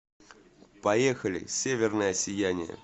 поехали северное сияние